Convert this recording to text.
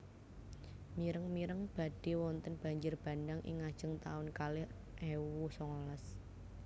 Mireng mireng badhe wonten banjir bandhang ing ngajeng taun kalih ewu songolas